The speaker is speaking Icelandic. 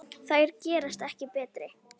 Þær gerast ekki betri.